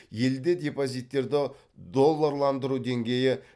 елде депозиттерді долларландыру деңгейі